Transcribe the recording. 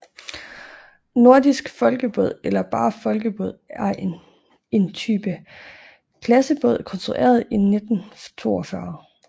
Nordisk Folkebåd eller bare Folkebåd er en entype klassebåd konstrueret i 1942